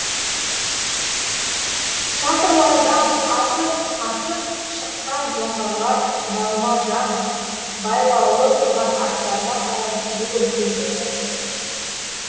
шатырлардан атып атып шыққан жоңғарлар жалма жан байлаулы тұрған аттарына қарай жүгірісе жөнелді